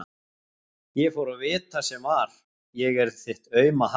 Ég fór að vita sem var: ég er þitt auma haf.